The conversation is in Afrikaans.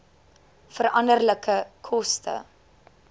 veranderlike koste